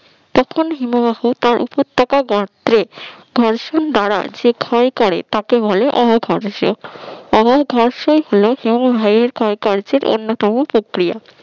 তখন হিমবাহ তার উপত্যকা তার গাত্রে ঘর্ষণ দ্বারা যে ক্ষয় করে তাকে বলে অবঘর্ষ অবঘর্ষই হল হিমবাহের ক্ষয়কার্যের অন্যতম প্রক্রিয়া